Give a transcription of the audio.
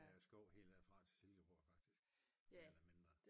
Der er skov helt der fra til Silkeborg faktisk mere eller mindre